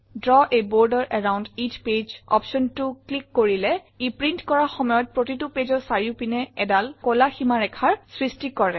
Draw a border around each page optionটো click কৰিলে ই প্ৰিণ্ট কৰাৰ সময়ত প্ৰতিটো pageৰ চাৰিওপিনে এডাল কলা ীমাৰেখাৰ সৃষ্টি কৰে